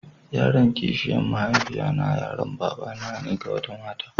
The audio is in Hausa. Yaron kishiya mahaifiya na yaron babana ne da ga wata mata.